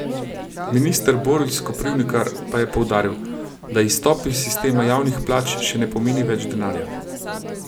Minister Boris Koprivnikar pa je poudaril, da izstop iz sistema javnih plač še ne pomeni več denarja.